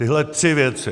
Tyhle tři věci.